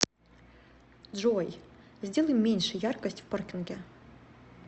джой сделай меньше яркость в паркинге